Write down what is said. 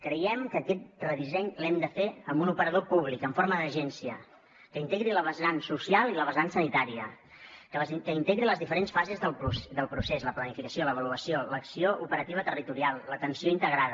creiem que aquest redisseny l’hem de fer amb un operador públic en forma d’agència que integri la vessant social i la vessant sanitària que integri les diferents fases del procés la planificació l’avaluació l’acció operativa territorial l’atenció integrada